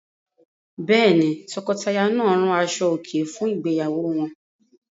Bẹ́ẹ̀ ni, tọkọtaya náà rán aṣọòkè fún ìgbéyàwó wọn.